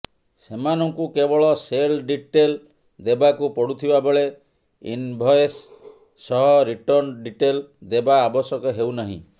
ସେମାନଙ୍କୁ କେବଳ sale detail ଦେବାକୁ ପଡୁଥିବାବେଳେ ଇନ୍ଭଏସ୍ ସହ ରିଟର୍ଣ୍ଣ ଡିଟେଲ୍ ଦେବା ଆବଶ୍ୟକ ହେଉ ନାହିଁ